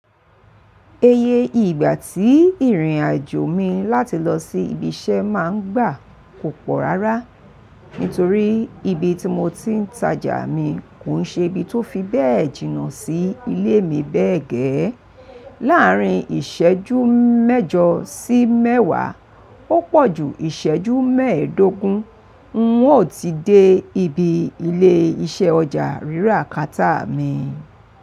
Eye ìgbà tí ìrìn-àjò mi láti lọ sí ibi iṣẹ́ máa ń gbà kò pọ̀ rárá, nítorí ibi tí mo ti ń tajà mi kò ń ṣe ibi tó fi bẹ́ẹ̀ jìnnà sí ilé mi bẹ́ẹ̀ gẹ́. Láàárín ìṣẹ́jú mẹ́jọ sí mẹ́wàá ó pọ̀ ju ìṣẹ́jú mẹ́ẹ̀dógún, n ó ti dé ibi ilé iṣẹ́ ọjà rírà kátà mi.